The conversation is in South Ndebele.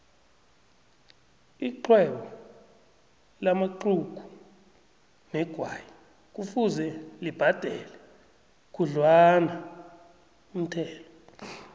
ixhwebo lamaxhugu negwayi kufuze libhadele khudlwanaumthelo